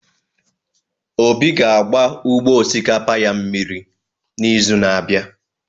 Obi ga-agba ugbo osikapa ya mmiri n'izu na-abịa.